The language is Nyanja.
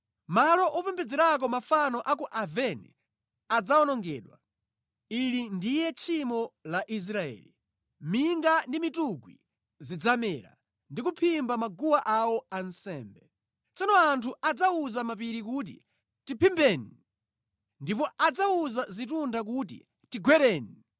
Malo opembedzerako mafano a ku Aveni adzawonongedwa. Ili ndiye tchimo la Israeli. Minga ndi mitungwi zidzamera ndi kuphimba maguwa awo ansembe. Kenaka anthu adzawuza mapiri kuti, “Tiphimbeni!” ndipo adzawuza zitunda kuti, “Tigwereni!”